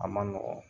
A man nɔgɔn